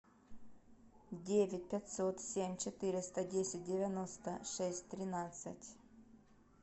девять пятьсот семь четыреста десять девяносто шесть тринадцать